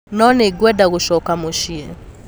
No nĩ ngwenda gũcoka mũciĩ.'